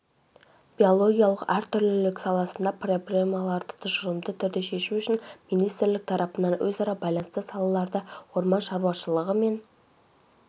биологиялық әртүрлілік саласында проблемаларды тұжырымды түрде шешу үшін министрлік тарапынан өзара байланысты салаларды орман шаруашылығы мен